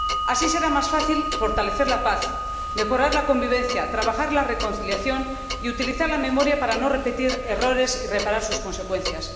Así será más fácil fortalecer la paz, mejorar la convivencia, trabajar por la reconciliación y utilizar la memoria para no repetir errores y reparar sus consecuencias.